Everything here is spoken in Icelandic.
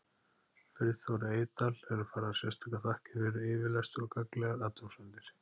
Friðþóri Eydal eru færðar sérstakar þakkir fyrir yfirlestur og gagnlegar athugasemdir.